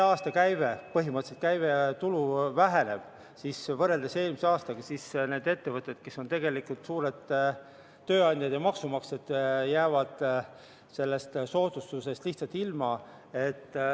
Ja kui see käibetulu väheneb võrreldes eelmise aastaga, siis need ettevõtted, kes on tegelikult suured tööandjad ja maksumaksjad, jäävad sellest soodustusest lihtsalt ilma.